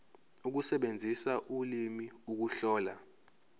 ukusebenzisa ulimi ukuhlola